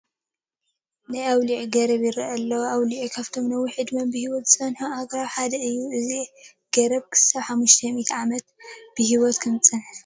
ናይ ኣውሊዕ ገረብ ይርአ ኣሎ፡፡ ኣውሊዕ ካብቶም ነዊሕ ዕድመ ብሂወት ዝፀንሑ ኣግራብ ሓደ እዩ፡፡ እዚ ገረብ እስካብ ሓሙሽተ ሚእቲ ዓመት ብሂወት ከምዝፀንሕ ትፈልጡ ዶ?